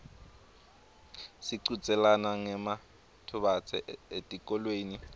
sichudzelana ngematubane etikolweni